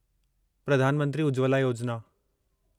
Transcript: Pradhan Mantri Ujjwala Yojana